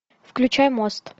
включай мост